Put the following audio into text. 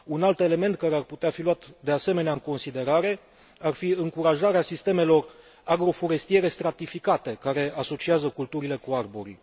Un alt element care ar putea fi luat, de asemenea, în considerare ar fi încurajarea sistemelor agroforestiere stratificate, care asociază culturile cu arborii.